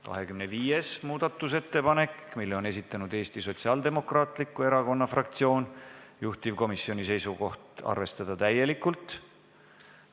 25. muudatusettepaneku on esitanud Eesti Sotsiaaldemokraatliku Erakonna fraktsioon, juhtivkomisjoni seisukoht: arvestada seda täielikult.